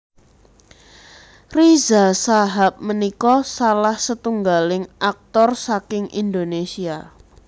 Riza Shahab punika salah setunggaling aktor saking Indonésia